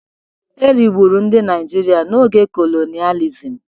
E rigburu ndị Naịjirịa n'oge kolonịalizim.